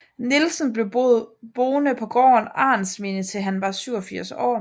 Nielsen blev boede på gården Arentsminde til han var 87 år